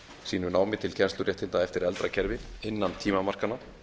sínu námi til kennsluréttinda eftir eldra kerfi innan tímamarkanna